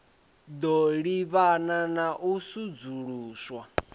ḓo livhana na u sudzuluswa